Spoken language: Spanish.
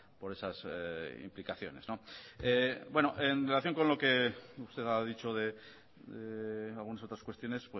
por esas implicaciones en relación con lo que usted ha dicho de algunas otras cuestiones